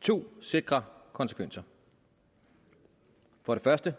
to sikre konsekvenser for det første